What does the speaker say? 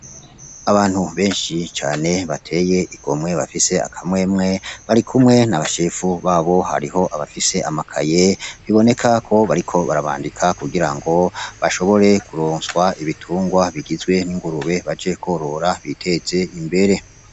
Abantu benshi cane batey'igomwe, bafis akamwemwe ,barikumwe nabatware ,bafise amakaye bibonekako bariko barabandika kugirango bashobore kuronswa ibitungwa :bigizwe n'ingurube baje kworora bitez'imbere.